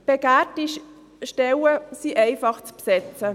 Begehrte Stellen sind einfach zu besetzen.